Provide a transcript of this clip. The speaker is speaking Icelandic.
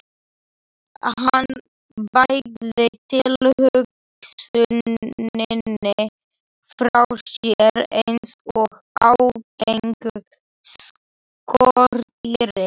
Hann bægði tilhugsuninni frá sér eins og ágengu skordýri.